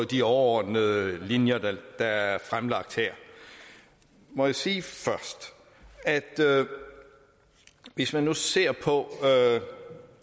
de overordnede linjer der er fremlagt her må jeg sige først at hvis man nu ser på